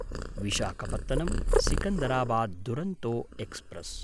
Visakhapatnam Secunderabad Duronto express